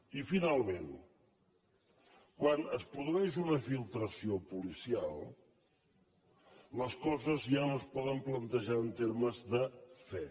i finalment quan es produeix una filtració policial les coses ja no es poden plantejar en termes de fe